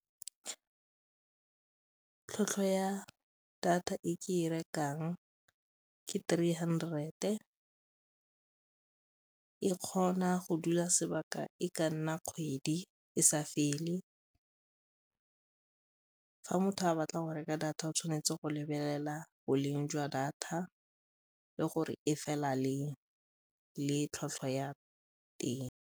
Tlhwatlhwa ya data e ke e rekang ke three hundred-e, e kgona go dula sebaka e ka nna kgwedi e sa fele fa motho a batla go reka data o tshwanetse go lebelela boleng jwa data le gore e fela leng le tlhwatlhwa ya teng.